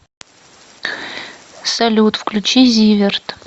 салют включи зиверт